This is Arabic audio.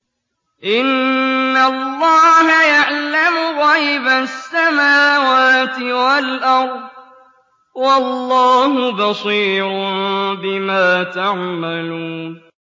إِنَّ اللَّهَ يَعْلَمُ غَيْبَ السَّمَاوَاتِ وَالْأَرْضِ ۚ وَاللَّهُ بَصِيرٌ بِمَا تَعْمَلُونَ